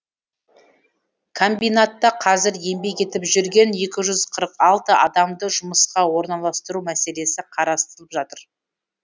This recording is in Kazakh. комбинатта қазір еңбек етіп жүрген екі жүз қырық алты адамды жұмысқа орналастыру мәселесі қарастырылып жатыр